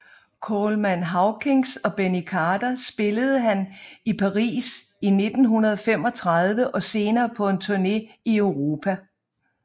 Coleman Hawkins og Benny Carter spillede han i Paris i 1935 og senere på en turne i Europa